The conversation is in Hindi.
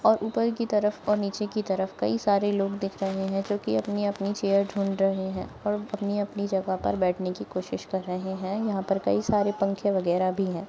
और ऊपर की तरफ और निचेत की तरफ कई सारे लोग दिख रहे है जो की अपनी-अपनी चेयर ढूंढ रहे है और अपनी-अपनी जगह पर बैठने की कोशिश कर रहे है यहाँ पर कई सारे पंखे वगैरा भी है।